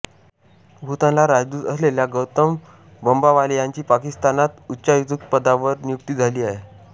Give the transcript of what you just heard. भूतानला राजदूत असलेल्या गौतम बंबावाले यांची पाकिस्तानात उच्चायुक्तपदावर नियुक्ती झाली आहे